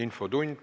Infotund.